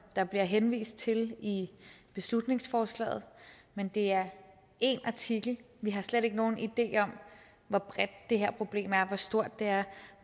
der bliver henvist til i beslutningsforslaget men det er én artikel vi har slet ikke nogen idé om hvor bredt det her problem er hvor stort det er